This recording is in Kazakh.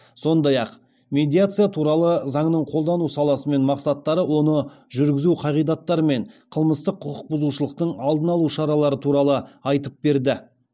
сондай ақ медиация туралы заңның қолданылу саласы мен мақсаттары оны жүргізу қағидаттары мен қылмыстық құқық бұзушылықтың алдын алу шаралары туралы айтып берді